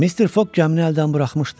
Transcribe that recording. Mister Foq gəmini əldən buraxmışdı.